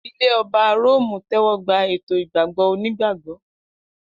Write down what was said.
Ilẹ̀ Ọba Róòmù tẹ́wọ́ gba ètò ìgbàgbọ́ onígbàgbọ́.